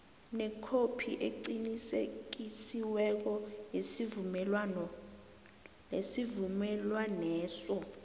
nekhophi eqinisekisiweko yesivumelwaneso